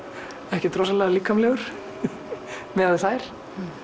ekkert rosalega líkamlegur miðað við þær